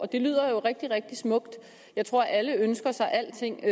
og det lyder jo rigtig rigtig smukt jeg tror at alle ønsker sig alting